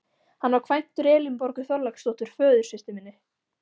Hann var kvæntur Elínborgu Þorláksdóttur, föðursystur minni.